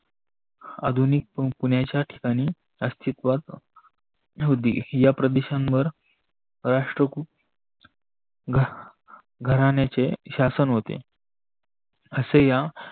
आधुनिक पुण्याच्या ठिकानी अस्तीवात होती. या प्रदीशांवर राष्ट्रकूट घराण्याचे शासन होते अशा या